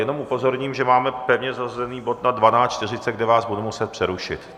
Jenom upozorním, že máme pevně zařazený bod na 12.40, kde vás budu muset přerušit.